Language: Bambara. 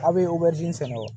A' be sɛnɛ o